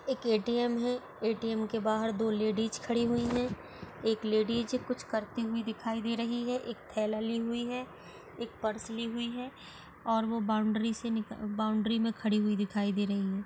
एक ए_टी_एम है ए_टी_एम के बाहर दो लेडीज खड़ी हुई है एक लेडीज कुछ करती हुई दिखाई दे रही है एक थैला ली हुई है एक पर्स ली हुई है और वो बाउंड्री से निकल बाउंड्री मे खड़ी हुई दिखाई दे रही है।